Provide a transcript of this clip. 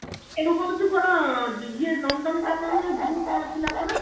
ଏବେ କଣ ତୁ କଣ ନନ୍ଦନକାନନ ନା zoo କଣ ଥିଲା ପରା